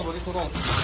Qabağa doğru.